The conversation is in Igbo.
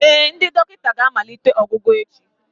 Ee, ndị dọkịta ga-amalite ọgwụgwọ echi